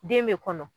Den bɛ kɔnɔ